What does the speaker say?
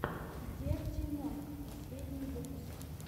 дерти монк последний выпуск